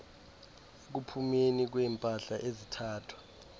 ekuphumeni kweempahla ezithathwa